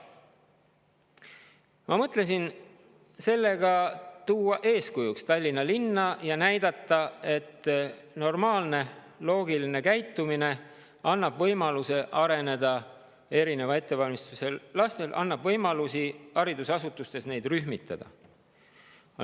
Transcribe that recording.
Ma mõtlesin tuua Tallinna linna eeskujuks ja näidata, et normaalne ja loogiline käitumine annab erineva ettevalmistusega lastele võimaluse areneda, annab võimaluse neid haridusasutustes rühmitada.